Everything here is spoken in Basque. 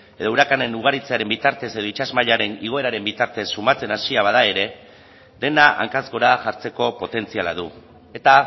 urakanen ugaritzearen bitartez edo itsas mailaren igoeraren bitartez somatzen hasia bada ere dena hankaz hora jartzeko potentziala du eta